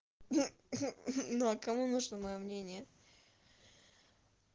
ну а кому нужно моё мнение